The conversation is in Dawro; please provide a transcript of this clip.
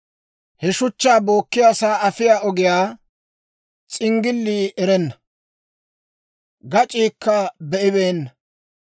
«He shuchchaa bookkiyaasaa afiyaa ogiyaa s'inggillii erenna; gac'iikka be'ibeenna.